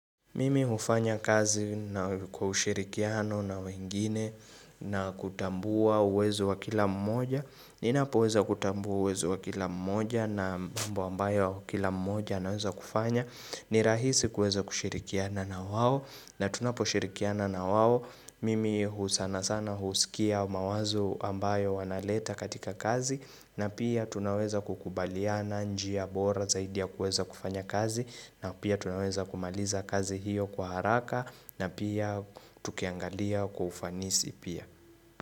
Mimi hufanya kazi kwa ushirikiano na wengine na kutambua uwezo wa kila mmoja ninapoweza kutambua uwezo wa kila mmoja na mambo ambayo kila mmoja anaweza kufanya ni rahisi kuweza kushirikiana na wao na tunapo shirikiana na wao imi husana sana husikia mawazo ambayo wanaleta katika kazi na pia tunaweza kukubaliana njia bora zaidi ya kuweza kufanya kazi na pia tunaweza kumaliza kazi hiyo kwa haraka na pia tukiangalia kwa ufanisi pia.